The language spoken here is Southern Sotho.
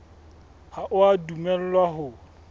ha o a dumellwa ho